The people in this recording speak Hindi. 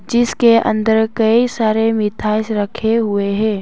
जिसके अंदर कई सारे मिठास रखे हुए हैं।